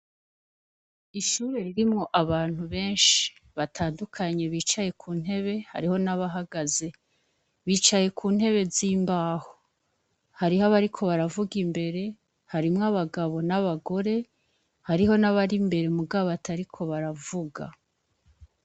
Ishure ririmwo abantu benshi batandukanye bicaye kuntebe, hariho nabahagaze. Bicaye kuntebe zimbaho. Harih’abariko baravug’imbere, harimw’abagabo n’abagore, hariho nabar’imbere muga batariko baravuga.